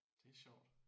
Det er sjovt